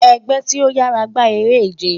Ẹgbẹ ti o yara gba ere-ije